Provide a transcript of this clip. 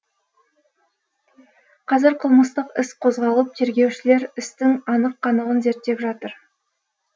қазір қылмыстық іс қозғалып тергеушілер істің анық қанығын зерттеп жатыр